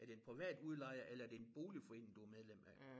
Er det en privat udlejer eller er det en boligforening du er medlem af?